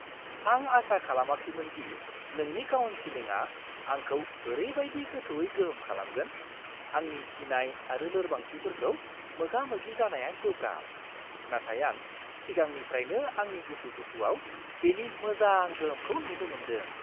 आं आसा खालामाखैमोन दि नोंनि काउनसिलिंआ आंखौ ओरैबायदि गोथौवै गोहोम खालामगोन। आंनि गिनाय आरो लोरबांथिफोरखौ मोगा-मोगि जानाया गोब्राब, नाथाय आं सिगांनिफ्राइनो आंनि उसुखुथुआव बेनि मोजां गोहोमखौ नुनो मोनदों।